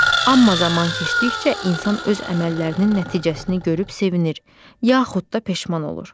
Amma zaman keçdikcə insan öz əməllərinin nəticəsini görüb sevinir, yaxud da peşman olur.